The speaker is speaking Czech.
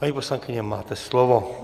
Paní poslankyně, máte slovo.